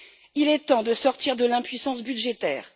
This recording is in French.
Il est temps de sortir de l'impuissance budgétaire.